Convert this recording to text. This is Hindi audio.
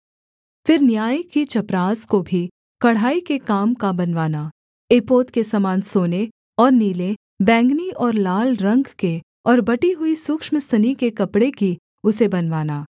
फिर न्याय की चपरास को भी कढ़ाई के काम का बनवाना एपोद के समान सोने और नीले बैंगनी और लाल रंग के और बटी हुई सूक्ष्म सनी के कपड़े की उसे बनवाना